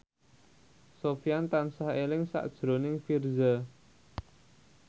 Sofyan tansah eling sakjroning Virzha